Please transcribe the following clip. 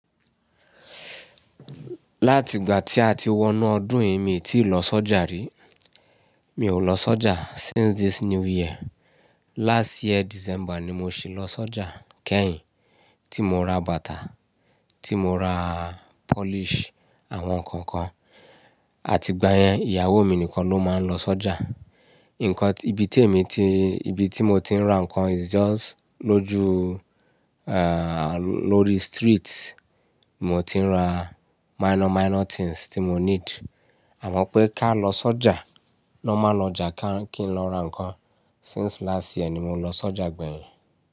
Láti ìgbà tí a ti wọ inú ọdún yìí, mi ò tíì lọ sọ́jà rí. Mi ò lọ sọ́jà since this new year. Last year December ni mo ṣì lọ sọ́jà kẹ́yìn tí mo ra bàtà, tí mo ra polish àwọn nǹkan kan. Àti ìgbà yẹn, ìyàwó mi nìkan ló máa ń lọ sọ́jà. Nǹkan ibi tí èmi ti, ibi tí mo ti ń ra ǹkan is just lójú-- lórí street. Mo ti ń ra minor minor things tí mo need. Àmọ́ pé ká lọ sọ́jà, lọ́ má lọjà ká kí n lọ ra ǹkan. Since last year ni mo lọ sọ́jà gbẹ̀yìn.